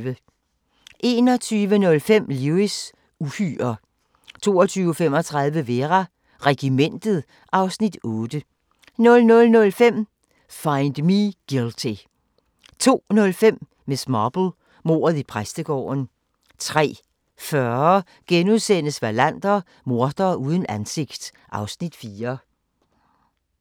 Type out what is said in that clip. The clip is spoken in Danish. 21:05: Lewis: Uhyrer 22:35: Vera: Regimentet (Afs. 8) 00:05: Find Me Guilty 02:05: Miss Marple: Mordet i præstegården 03:40: Wallander: Mordere uden ansigt (Afs. 4)*